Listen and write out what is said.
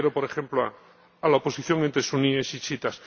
me refiero, por ejemplo, a la oposición entre suníes y chiíes.